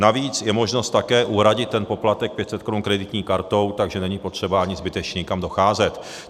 Navíc je možnost také uhradit ten poplatek 500 korun kreditní kartou, takže není potřeba ani zbytečně někam docházet.